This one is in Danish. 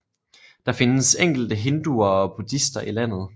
Der findes enkelte hinduer og buddhister i landet